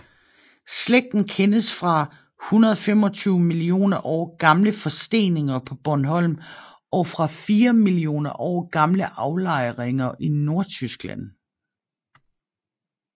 Slægten kendes fra 125 millioner år gamle forsteninger på Bornholm og fra 4 millioner år gamle aflejninger i Nordtyskland